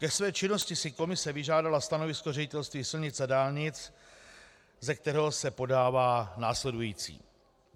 Ke své činnosti si komise vyžádala stanovisko Ředitelství silnic a dálnic, ze kterého se podává následující: